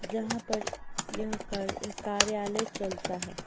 जहां पर यह कर कार्यालय चलता है।